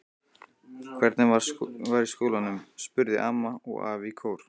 Hvernig var í skólanum? spurðu amma og afi í kór.